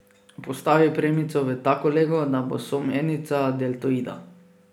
Postavi premico v tako lego, da bo somernica deltoida.